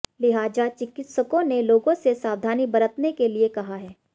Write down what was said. लिहाजा चिकित्सकों ने लोगों से सावधानी बरतने के लिये कहा है